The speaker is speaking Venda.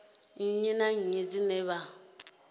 nnyi na nnyi dzine vha